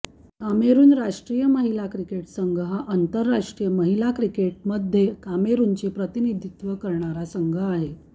कामेरून राष्ट्रीय महिला क्रिकेट संघ हा आंतरराष्ट्रीय महिला क्रिकेटमध्ये कामेरूनचे प्रतिनिधित्व करणारा संघ आहे